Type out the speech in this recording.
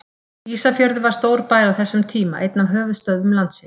Ísafjörður var stór bær á þessum tíma, einn af höfuðstöðvum landsins.